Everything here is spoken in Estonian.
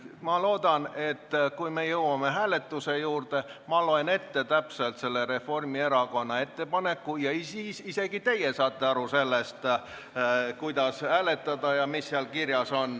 Ma loodan, et kui me jõuame hääletuse juurde ja ma loen täpselt ette selle Reformierakonna ettepaneku, siis isegi teie saate aru, mis seal kirjas on, ja võite hääletada.